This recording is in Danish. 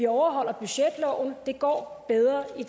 overholdt og det går bedre i